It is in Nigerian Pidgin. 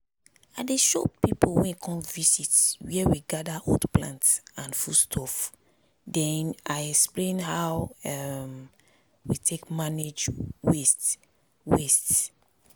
i dey show pipu wey come visit where we gather old plant and food stuff then i explain how um we take manage waste. waste.